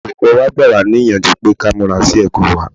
Olùkọ́ wa gbà wá níyànjú pé ká múra sí ẹ̀kọ́ wá.